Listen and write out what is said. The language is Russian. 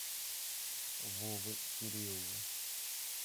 вовы кириллова